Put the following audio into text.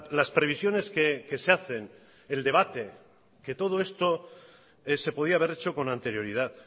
las previsiones que se hacen el debate que todo esto se podía haber hecho con anterioridad